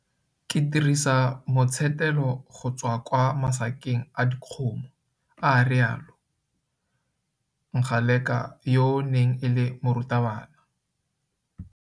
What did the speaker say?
Ke dirisa motshetelo go tswa kwa masakeng a dikgomo. A rialo. Ngaleka yo e neng e le morutabana